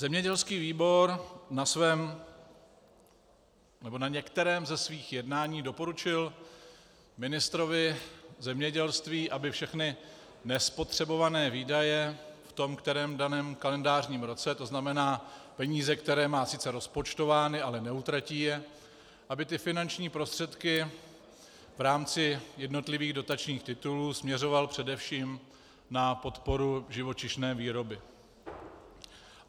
Zemědělský výbor na svém, nebo na některém ze svých jednání doporučil ministrovi zemědělství, aby všechny nespotřebované výdaje v tom kterém daném kalendářním roce, to znamená peníze, které má sice rozpočtovány, ale neutratí je, aby ty finanční prostředky v rámci jednotlivých dotačních titulů směřoval především na podporu živočišné výroby.